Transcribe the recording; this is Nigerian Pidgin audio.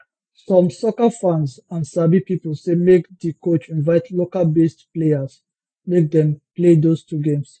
some soccer fans and sabi pipo say make di coach invite localbased players make dem play those two games